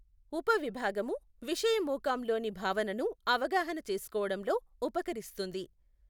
ఉపవిభాగము విషయమూకాంలోని భావనను అవగాహన చేసుకోవడంలో ఉపకరిస్తుంది.